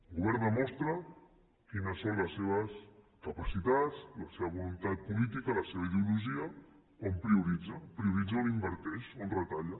un govern demostra quines són les seves capacitats la seva voluntat política la seva ideologia quan prioritza quan prioritza on inverteix on retalla